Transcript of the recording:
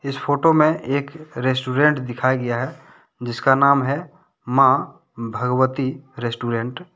इस फोटो मे एक रेस्टोरेंट दिखाया गया है जिसका नाम है मां भगवती रेस्टोरेंट --